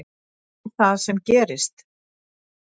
Hvað er það sem gerist?